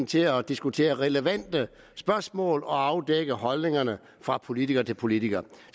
til at diskutere relevante spørgsmål og afdække holdninger fra politiker til politiker